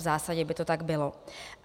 V zásadě by to tak bylo.